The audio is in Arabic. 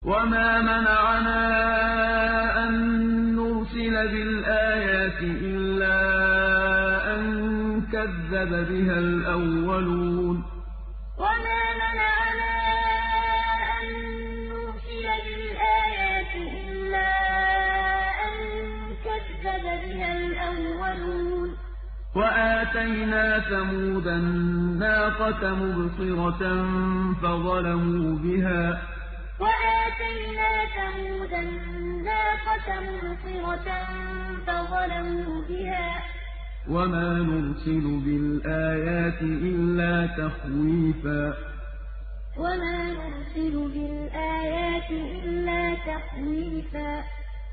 وَمَا مَنَعَنَا أَن نُّرْسِلَ بِالْآيَاتِ إِلَّا أَن كَذَّبَ بِهَا الْأَوَّلُونَ ۚ وَآتَيْنَا ثَمُودَ النَّاقَةَ مُبْصِرَةً فَظَلَمُوا بِهَا ۚ وَمَا نُرْسِلُ بِالْآيَاتِ إِلَّا تَخْوِيفًا وَمَا مَنَعَنَا أَن نُّرْسِلَ بِالْآيَاتِ إِلَّا أَن كَذَّبَ بِهَا الْأَوَّلُونَ ۚ وَآتَيْنَا ثَمُودَ النَّاقَةَ مُبْصِرَةً فَظَلَمُوا بِهَا ۚ وَمَا نُرْسِلُ بِالْآيَاتِ إِلَّا تَخْوِيفًا